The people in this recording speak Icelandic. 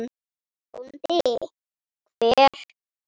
BÓNDI: Hver?